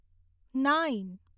nine